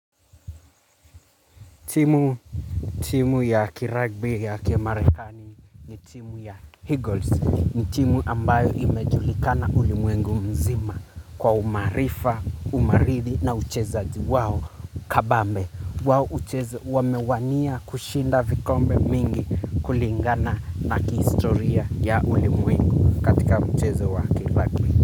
Timu timu ya kiragbi ya kimarekani ni timu ya Eagles ni timu ambayo imejulikana ulimwengu mzima kwa umaarifa, umaridi na uchezaji wao kabambe. Wao ucheza wamewania kushinda vikombe mingi kulingana na kihistoria ya ulimwengu katika mchezo wa kiragbi.